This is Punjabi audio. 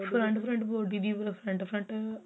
front front front front